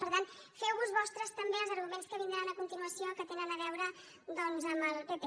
per tant feu vos vostres també els arguments que vindran a continuació que tenen a veure doncs amb el pp